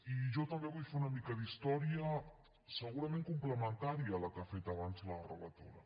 i jo també vull fer una mica d’història segurament complementària a la que ha fet abans la relatora